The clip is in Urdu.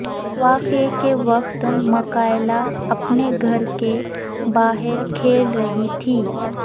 واقعے کے وقت مکائلا اپنے گھر کے باہر کھیل رہی تھی